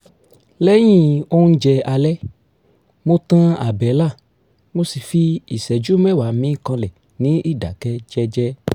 lẹ́yìn oúnjẹ alẹ́ mo tan àbẹ́là mo sì fi ìṣẹ́jú mẹ́wàá mí kanlẹ̀ ní ìdáké jẹ́jẹ́